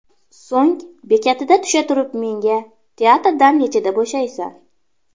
So‘ng bekatida tusha turib menga: ‘Teatrdan nechada bo‘shaysan?